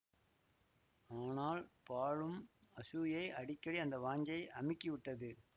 ஆனால் பாழும் அசூயை அடிக்கடி அந்த வாஞ்சையை அமுக்கி விட்டது